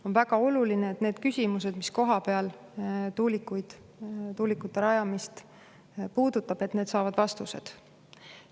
On väga oluline, et need küsimused, mis tuulikute rajamist puudutavad, saavad vastused.